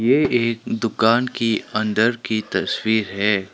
ये एक दुकान की अंदर की तस्वीर है।